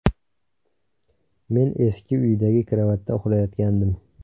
Men eski uydagi karavotda uxlayotgandim.